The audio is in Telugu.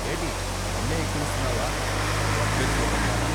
ఏటీ, నన్నే ఎక్కిరిస్తున్నావా దర్బిస్ మొకందానా?